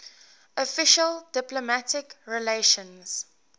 official diplomatic relations